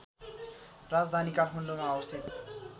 राजधानी काठमाडौँमा अवस्थित